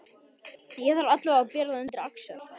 Ég þarf allavega að bera það undir Axel.